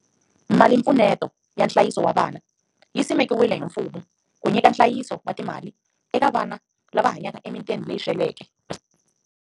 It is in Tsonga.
Malimpfuneto ya nhlayiso wa vana yi simekiwile hi mfumo ku nyika nhlayiso wa timali eka vana lava hanyaka emitini leyi sweleke.